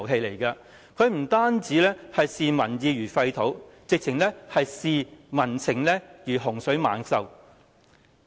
它不單視民意如糞土，簡直視民情如洪水猛獸。